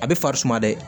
A bɛ farisuma dɛ